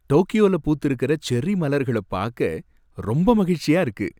டோக்கியோல பூத்திருக்கிற செர்ரி மலர்கள பாக்க ரொம்ப மகிழ்ச்சியா இருக்கு.